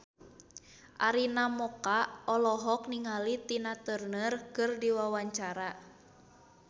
Arina Mocca olohok ningali Tina Turner keur diwawancara